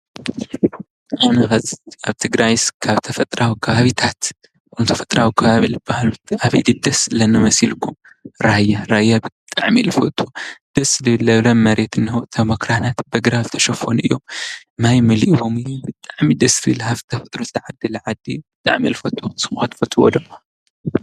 ኣብ ትግራይስ ተፈጥራዊ ከባቢታት ካብ ተፈጥራዊ ከባቢ ልባሃሉ መን ድዩ ደስ ዝብለኒ መሲሊኩም ራያ፣ ራያ ብጣዕሚየ ልፈቱ ደስ ልብል መሬት እንሆ እቶም ኣክራናት ብኣግራብ ዝተሸፈኑ እዮም፡፡ ማይ መሊኡዎም እዩ ብጣዕሚ ደስ ዝብል ሃፍታም ዓዲ ብጣዕሚየ ልፈትይ ንስኹም ከ ትፈዎዶ?